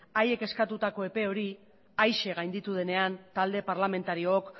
haiek eskatutako epe hori haize gainditu denean talde parlamentariok